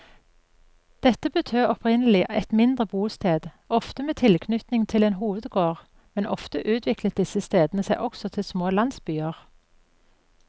Dette betød opprinnelig et mindre bosted, ofte med tilknytning til en hovedgård, men ofte utviklet disse stedene seg også til små landsbyer.